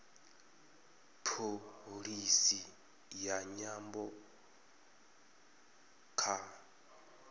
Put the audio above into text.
pholisi ya nyambo kha